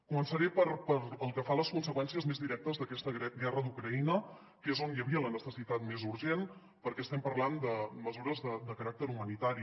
començaré pel que fa a les conseqüències més directes d’aquesta guerra d’ucraïna que és on hi havia la necessitat més urgent perquè estem parlant de mesures de caràcter humanitari